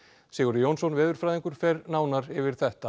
Sigurður Jónsson veðurfræðingur fer nánar yfir þetta